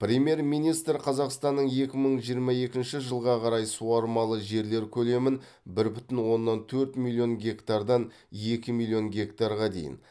премьер министр қазақстанның екі мың жиырма екінші жылға қарай суармалы жерлер көлемін бір бүтін оннан төрт миллион гектардан екі миллион гектарға дейін